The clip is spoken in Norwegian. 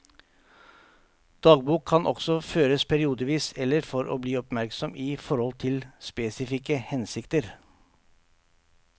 Dagbok kan også føres periodevis eller for å bli oppmerksom i forhold til spesifikke hensikter.